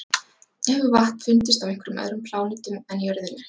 Hefur vatn fundist á einhverjum öðrum plánetum en jörðinni?